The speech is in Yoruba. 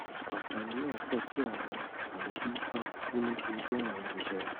àfààní náà pọ tí àwọn mọlẹbí bá kú nítorí àrùn jẹjẹrẹ